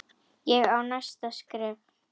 Ég á næsta skref.